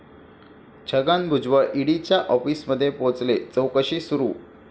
छगन भुजबळ ईडीच्या आॅफिसमध्ये पोहचले, चाैकशी सुरू